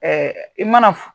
i mana